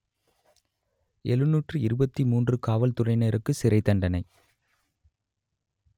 எழுநூற்று இருபத்தி மூன்று காவல்துறையினருக்கு சிறைத்தண்டனை